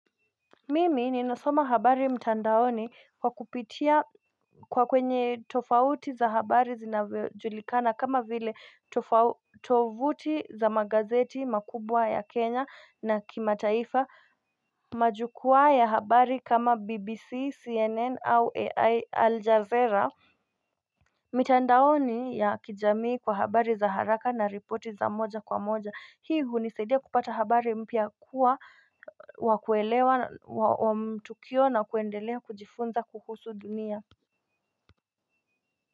Mimi ninasoma habari mtandaoni kwa kupitia kwa kwenye tofauti za habari zinajulikana kama vile tovuti za magazeti makubwa ya kenya na kimataifa majukuwaa ya habari kama bbc cnn au ai aljazeera mitandaoni ya kijamii kwa habari za haraka na ripoti za moja kwa moja hii hunisaidia kupata habari mpya kuwa wakuelewa wa mtukio na kuendelea kujifunza kuhusu dunia.